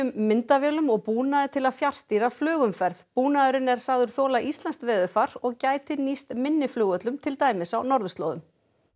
myndavélum og búnaði til að fjarstýra flugumferð búnaðurinn er sagður þola íslenskt veðurfar og gæti nýst minni flugvöllum til dæmis á norðurslóðum